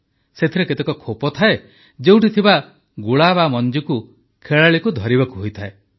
ସେଥିରେ କେତେକ ଖୋପ ଥାଏ ଯେଉଁଠି ଥିବା ଗୁଳା ବା ମଞ୍ଜିକୁ ଖେଳାଳିକୁ ଧରିବାକୁ ହୋଇଥାଏ